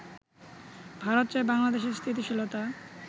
ভারত চায় বাংলাদেশে স্থিতিশীলতা